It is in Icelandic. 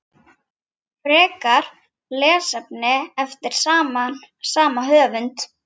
Frekara lesefni eftir sama höfund